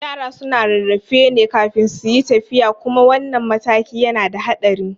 Yara suna rarrafe ne kafin suyi tafiya kuma wannan matakin yana da haɗari